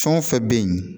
Fɛn o fɛn bɛ yen